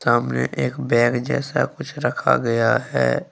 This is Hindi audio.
सामने एक बैग जैसा कुछ रखा गया है।